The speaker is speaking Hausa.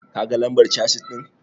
Ka ga lambar casis ɗin?